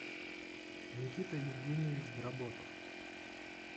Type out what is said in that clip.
никита евгеньевич дроботов